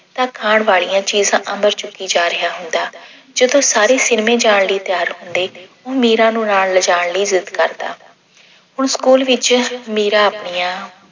ਤਾਂ ਖਾਣ ਵਾਲੀਆਂ ਚੀਜਾਂ ਅੰਦਰ ਚੁੱਕੀ ਜਾ ਰਿਹਾ ਹੁੰਦਾ। ਜਦੋਂ ਸਾਰੇ cinema ਜਾਣ ਲਈ ਤਿਆਰ ਹੁੰਦੇ ਉਹ ਮੀਰਾ ਨੂੰ ਨਾਲ ਲਿਜਾਣ ਲਈ wait ਕਰਦਾ। ਹੁਣ school ਵਿੱਚ ਮੀਰਾ ਆਪਣੀਆਂ